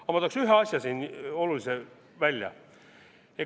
Aga ma tooksin ühe asja siin olulisena välja.